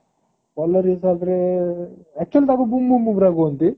bowler ହିସାବରେ actually ତାକୁ ବୁଂ ବୁଂ ବୁମରା କହନ୍ତି।